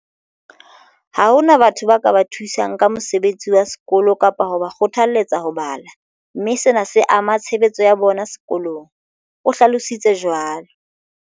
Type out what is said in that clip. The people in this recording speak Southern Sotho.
"Ha hona batho ba ka ba thusang ka mosebetsi wa sekolo kapa ho ba kgothalletsa ho bala, mme sena se ama tshebetso ya bona sekolong," o hlalo sitse jwalo.